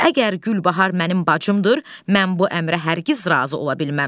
Əgər Gülbahar mənim bacımdır, mən bu əmrə hər kəz razı ola bilməm.